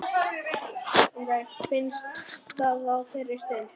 Finnst það á þeirri stund.